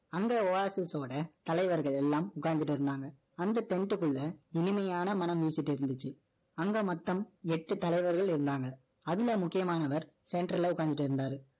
அந்த Oasis ஓட, தலைவர்கள் எல்லாம், உட்கார்ந்துட்டிருந்தாங்க. அந்த tent க்குள்ள, இனிமையான, மனம் ஊசிட்டு இருந்துச்சு அங்க மொத்தம் எட்டு தலைவர்கள் இருந்தாங்க. அதுல முக்கியமானவர், centre ல உட்கார்ந்துட்டு இருந்தாரு.